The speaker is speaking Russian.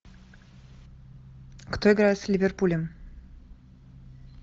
кто играет с ливерпулем